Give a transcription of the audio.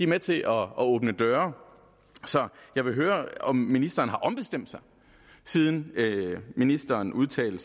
med til at åbne døre så jeg vil høre om ministeren har ombestemt sig siden ministeren udtalte